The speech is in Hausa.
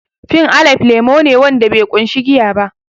Fib alaib lemo ne wanda be ƙunshi giya ba